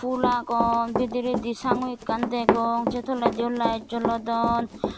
pul agon bidiredi sangu ekkan degong se toledi yo lite jolodon.